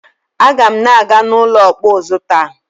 Aga m na-aga n'ụlọ ọkpụ ụzụ taa.